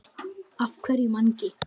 Af hverju Mangi?